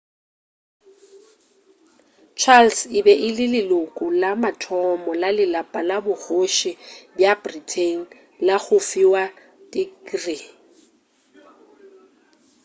charles e be e le leloko la mathomo la lelapa la bokgoši bja britain la go fiwa tikrii